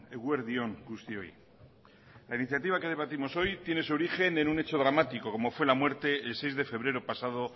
eguerdi on guztioi la iniciativa que debatimos hoy tiene su origen en un hecho dramático como fue la muerte el seis de febrero pasado